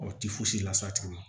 O ti fosi las'a tigi ma